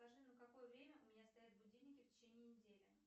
скажи на какое время у меня стоят будильники в течение недели